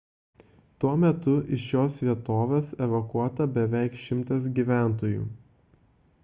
tuo metu iš šios vietovės evakuota beveik 100 gyventojų